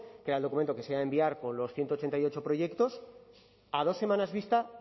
que era el documento que se ha de enviar con los ciento ochenta y ocho proyectos a dos semanas vista